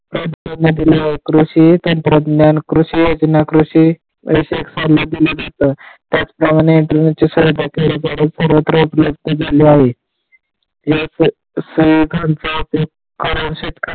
महत्व दिले आहे कृषी तंत्रज्ञान, कृषी योजना, कृषी दिले जातात त्याच प्रमाणे, सर्वत्र उपलब्ध झाले आहे त्याचप्रमाणे, याच सेवकांचा .